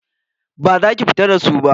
Baza ki fita da su ba.